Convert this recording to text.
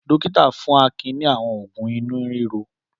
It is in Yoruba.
Dọ́kítá fún Akin ní àwọn òògùn inú ríro.